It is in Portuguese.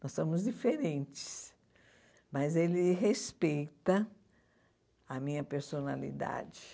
Nós somos diferentes, mas ele respeita a minha personalidade.